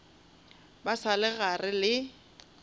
ba sa le gare le